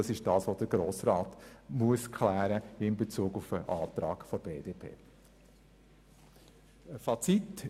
Dies ist es, was der Grosse Rat in Bezug auf den Antrag der BDP klären muss.